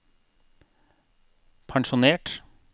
pensjonert